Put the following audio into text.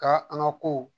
Ka an ka ko